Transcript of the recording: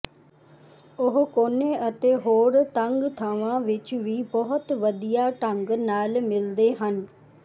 ਉਹ ਕੋਨੇ ਅਤੇ ਹੋਰ ਤੰਗ ਥਾਵਾਂ ਵਿਚ ਵੀ ਬਹੁਤ ਵਧੀਆ ਢੰਗ ਨਾਲ ਮਿਲਦੇ ਹਨ